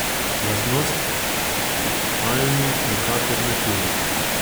Lastnost, ki Almi nikakor ni tuja.